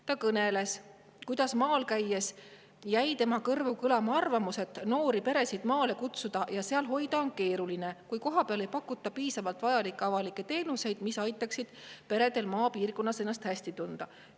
Ta kõneles, kuidas maal käies jäi tema kõrvu kõlama arvamus, et noori peresid maale kutsuda ja seal hoida on keeruline, kui kohapeal ei pakuta piisavalt vajalikke avalikke teenuseid, mis aitaksid peredel maapiirkonnas ennast hästi tunda.